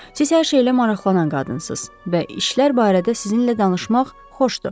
Siz hər şeylə maraqlanan qadınsınız və işlər barədə sizinlə danışmaq xoşdur.